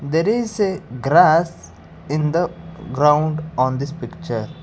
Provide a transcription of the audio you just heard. there is a grass in the ground on this picture.